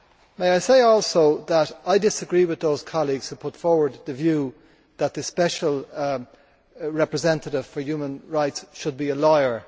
May I say also that I disagree with those colleagues who put forward the view that the Special Representative for Human Rights should be a lawyer.